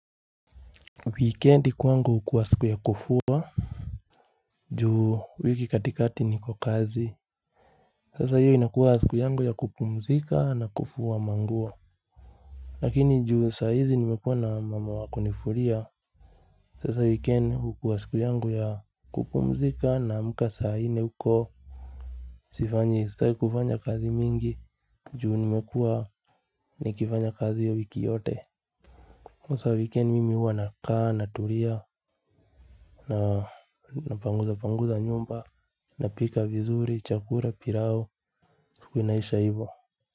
Weekendi kwangu hukuwa siku ya kufuwa. Juu wiki katikati niko kazi. Sasa hiyo inakuwa siku yangu ya kupumzika na kufuwa manguo. Lakini juu saa hizi nimekuwa na mama wakunifulia Sasa weekend hukuwa siku yangu ya kupumzika naamka saa nne huko Sifanje sitaki kufanya kazi mingi juu nimekuwa nikifanya kazi ya wiki yote hasa wikendi mimi huwa nakaa natulia na panguza panguza nyumba napika vizuri, chakura, pirao, kunaisha hivo.